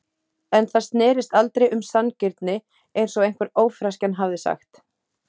En það snerist aldrei um sanngirni, eins og einhver ófreskjan hafði sagt.